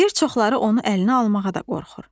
Bir çoxları onu əlinə almağa da qorxur.